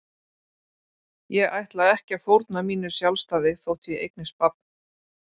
Ég ætla ekki að fórna mínu sjálfstæði þótt ég eignist barn.